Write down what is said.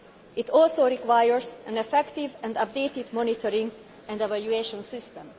It also requires an effective and updated monitoring and evaluation